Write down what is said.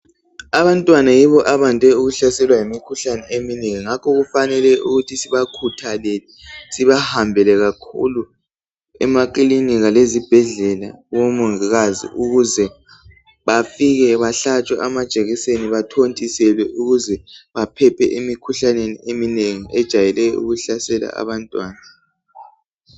Abantwana yibo abande ukuhlaselwa yimikhuhlane eminengi. Ngakho kufanele ukuthi sibakhuthalele sibahambele kakhulu emakilinika lezibhedlela kubomongikazi ukuze bafike bahlatshwe amajekiseni, bathontiselwe ukuze baphephe emikhuhlaneni eminengi ejayele ukuhlaselwa abantwana.